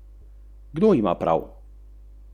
Dve osebi sta težje poškodovani, ena lažje.